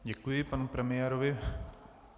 Děkuji panu premiérovi.